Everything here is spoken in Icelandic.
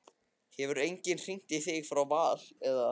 Hefur enginn hringt í þig frá Val eða?